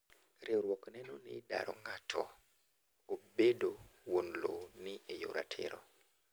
Riwruok neno ni daro ng'ato ebedo wuon lowo ni eyor ratiro.